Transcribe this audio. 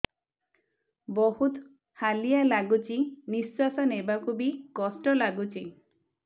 ବହୁତ୍ ହାଲିଆ ଲାଗୁଚି ନିଃଶ୍ବାସ ନେବାକୁ ଵି କଷ୍ଟ ଲାଗୁଚି